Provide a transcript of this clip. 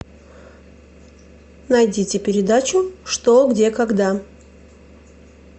найдите передачу что где когда